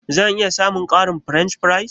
Zan iya samun ƙarin french fries?